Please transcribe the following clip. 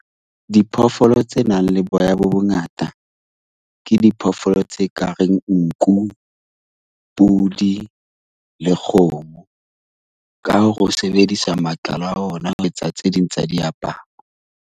Diphoofolo tse nang le boya bo bongata ke diphoofolo tse kareng nku, pudi le kgomo. Ka ho sebedisa matlalo a ona ho etsa tse ding tsa diaparo.